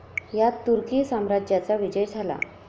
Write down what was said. यात तुर्की साम्राज्याचा विजय झाला.